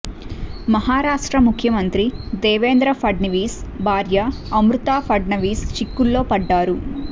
మహారాష్ట్ర ముఖ్యమంత్రి దేవేంద్ర ఫడ్నవీస్ భార్య అమృత ఫడ్నవీస్ చిక్కుల్లో పడ్డారు